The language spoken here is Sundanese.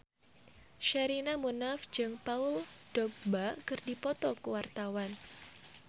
Sherina Munaf jeung Paul Dogba keur dipoto ku wartawan